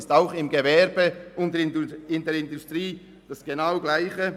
Auch im Gewerbe und in der Industrie ist es das Gleiche.